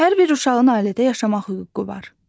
Hər bir uşağın ailədə yaşamaq hüququ var.